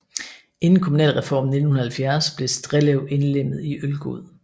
Inden kommunalreformen i 1970 blev Strellev indlemmet i Ølgod